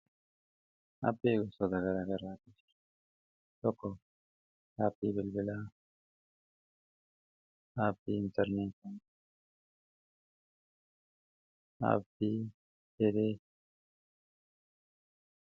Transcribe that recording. Appii gosa gara garaati. Tokko appii bilbilaa appii intarnetii appii tele.